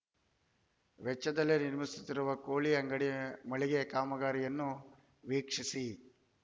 ವೆಚ್ಚದಲ್ಲಿ ನಿರ್ಮಿಸುತ್ತಿರುವ ಕೋಳಿ ಅಂಗಡಿ ಮಳಿಗೆ ಕಾಮಗಾರಿಯನ್ನು ವೀಕ್ಷಿಸಿ